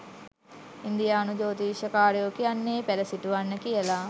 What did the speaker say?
ඉන්දීයානු ජෝතිශ්‍යය කාරයෝ කියන්නේ පැල සිටුවන්න කියලා .